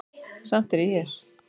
Samt er ég hér.